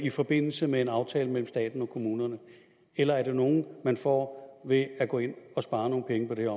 i forbindelse med en aftale mellem staten og kommunerne eller er det nogle man får ved at gå ind og spare nogle penge på det